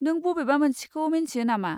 नों बबेबा मोनसेखौ मोन्थियो नामा?